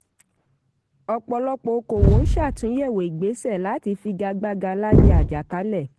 ọ̀pọ̀lọpọ̀ òkòòwò n ṣàtúnyẹ̀wò ìgbéṣẹ̀ láti figagbága láyé àjàkálẹ̀.